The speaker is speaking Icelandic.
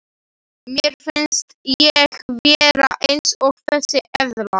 Mér finnst ég vera eins og þessi eðla.